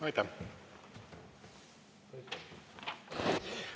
Aitäh!